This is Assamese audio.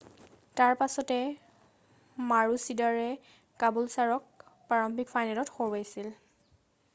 তাৰ পিছত মাৰোচিদৰে কাবুলছাৰক প্ৰাৰম্ভিক ফাইনেলত হৰুৱাইছিল